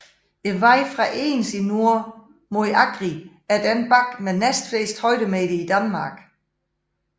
Vejen fra Egens i nord mod Agri er den bakke med næstflest højdemeter i Danmark